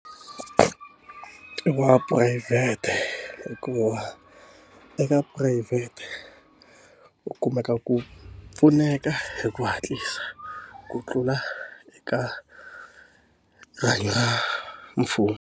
Wa phurayivhete hikuva eka phurayivhete u kumeka ku pfuneka hi ku hatlisa ku tlula eka rihanyo ra mfumo.